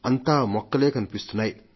అంతా మొక్కలే కనిపిస్తున్నాయి